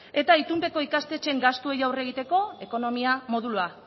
eta itunpeko ikastetxeen gastuei aurre egiteko ekonomia modulua